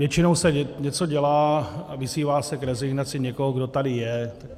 Většinou se něco dělá a vyzývá se k rezignaci někdo, kdo tady je.